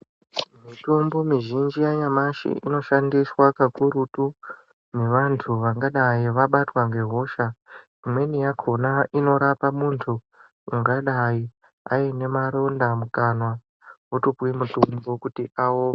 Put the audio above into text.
Mitombo muzhinji yanyamashi inoshandiswa kakurutu nevantu vangadai vabatwa ngehosha. Imweni yakona inorapa muntu angadai aine maronda mukanwa otopuve mutombo kuti ao.